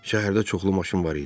Şəhərdə çoxlu maşın var idi.